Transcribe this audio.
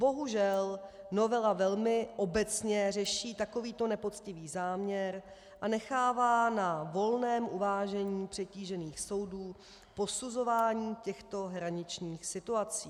Bohužel, novela velmi obecně řeší takovýto nepoctivý záměr a nechává na volném uvážení přetížených soudů posuzování těchto hraničních situací.